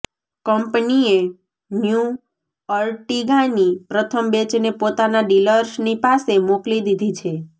કંપનીએ ન્યૂ અર્ટિગાની પ્રથમ બેચને પોતાના ડીલર્સની પાસે મોકલી દીધી છે